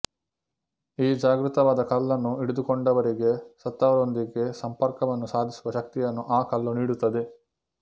ಈ ಜಾಗೃತವಾದ ಕಲ್ಲನ್ನು ಹಿಡಿದುಕೊಂಡವರಿಗೆ ಸತ್ತವರೊಂದಿಗೆ ಸಂಪರ್ಕವನ್ನು ಸಾಧಿಸುವ ಶಕ್ತಿಯನ್ನು ಆ ಕಲ್ಲು ನೀಡುತ್ತದೆ